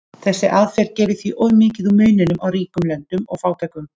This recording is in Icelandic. Þessi aðferð gerir því of mikið úr muninum á ríkum löndum og fátækum.